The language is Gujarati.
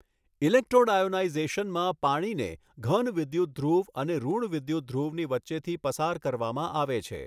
ઇલેક્ટ્રોડઆયોનાઇઝેશનમાં પાણીને ધન વિદ્યુતધ્રુવ અને ઋણ વિદ્યુતધ્રુવની વચ્ચેથી પસાર કરવામાં આવે છે.